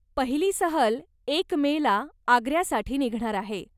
पहिली सहल एक मेला आग्र्यासाठी निघणार आहे.